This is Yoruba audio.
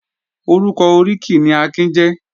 Orúkọ oríkì ni Akin jẹ́